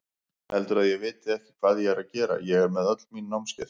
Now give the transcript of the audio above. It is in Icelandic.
Heldurðu að ég viti ekki hvað ég er að gera, ég með öll mín námskeið.